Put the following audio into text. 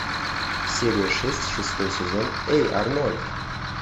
серия шесть шестой сезон эй арнольд